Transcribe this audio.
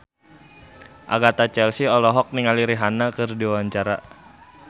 Agatha Chelsea olohok ningali Rihanna keur diwawancara